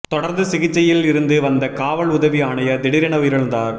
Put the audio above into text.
தொடர்ந்து சிகிச்சையில் இருந்து வந்த காவல் உதவி ஆணையர் திடீரென உயிரிழந்தார்